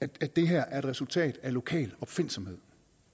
det her er et resultat af lokal opfindsomhed